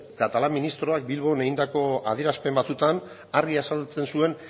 catalá ministroak bilbon egindako adierazpen batzuetan argi azaltzen zuen